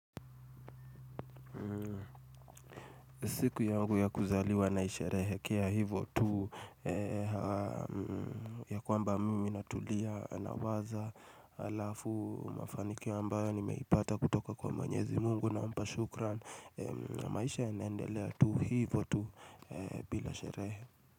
Siku yangu ya kuzaliwa naisherehe kea hivotu ya kwamba mimi natulia na waza alafu mafanikio ambayo ni meipata kutoka kwa mwenyezi mungu na mpashukran maisha yanendelea tu hivotu bila sherehe.